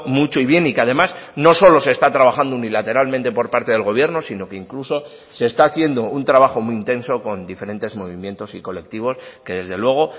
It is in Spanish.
mucho y bien y que además no solo se está trabajando unilateralmente por parte del gobierno sino que incluso se está haciendo un trabajo muy intenso con diferentes movimientos y colectivos que desde luego